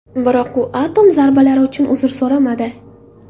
Biroq u atom zarbalari uchun uzr so‘ramadi.